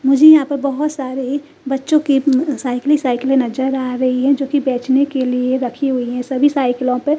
मुझे यहाँ पे बहुत सारे बच्चों के उम साइकीले ही साइकीले नजर आ रही है जो की बेचने के लिए रखी हुई है सभी साइकिलों पे --